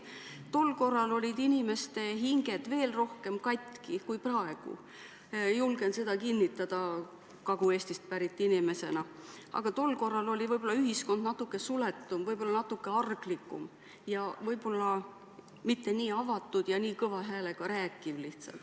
Tol korral olid inimeste hinged veel rohkem katki kui praegu – julgen seda kinnitada Kagu-Eestist pärit inimesena –, aga ühiskond oli siis võib-olla natuke suletum, natuke arglikum ja mitte nii avatud, ei räägitud ka nii valju häälega.